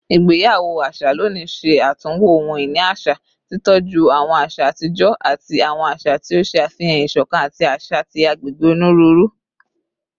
Igbeyawo aṣa loni ṣe atunwo ohun-ini aṣa, titọju awọn aṣa atijọ ati awọn aṣa ti o ṣe afihan isokan ati aṣa ti agbegbe oniruuru